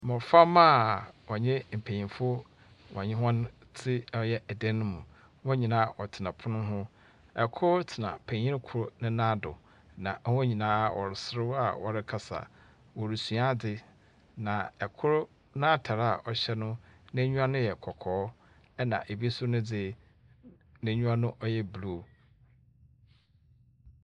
Mboframba a wɔnye mpnyimfo wɔnye hɔn tse ɔyɛ dan no mu, hɔn nyina wɔtsena pon ho. Kor tsena panyin kor ne nan do, na hɔn nyina wɔreserew a wɔrekasa, worusua adze. Na kor n’atar a ɔhyɛ no, n’enyiwa no yɛ kɔkɔɔ na bi so ne dze n’enyiwa yɛ blue.